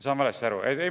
Saan valesti aru?